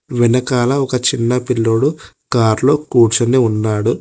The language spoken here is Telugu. వెనకాల ఒక చిన్న పిల్లోడు కార్లో కూర్చుని ఉన్నాడు.